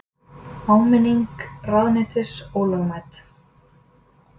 Áminning ráðuneytis ólögmæt